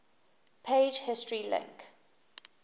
page history link